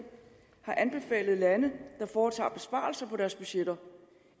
har anbefalet lande der foretager besparelser på deres budgetter